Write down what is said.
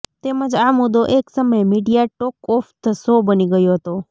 તેમજ આ મુદ્દો એક સમયે media talk of the show બની ગયો હતો